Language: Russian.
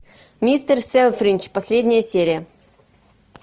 мистер селфридж последняя серия